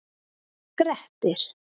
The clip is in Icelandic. Grettir